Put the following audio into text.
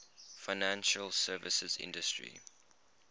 financial services industry